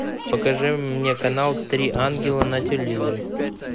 покажи мне канал три ангела на телевизоре